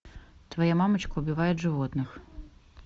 твоя мамочка убивает животных